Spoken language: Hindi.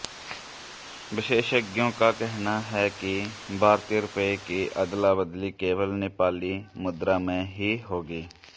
विशेषज्ञों का कहना है कि भारतीय रुपये की अदलाबदली केवल नेपाली मुद्रा में ही होगी